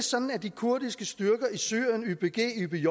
sådan at de kurdiske styrker i syrien ypg